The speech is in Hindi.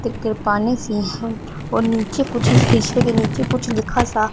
टिक पानी सी है और नीचे कुछ हिसे के नीचे कुछ लिखा सा--